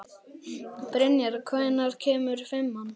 Brynjar, hvenær kemur fimman?